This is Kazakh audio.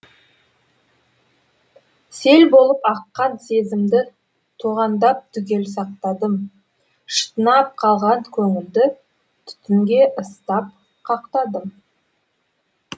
сел болып аққан сезімді тоғандап түгел сақтадым шытынап қалған көңілді түтінге ыстап қақтадым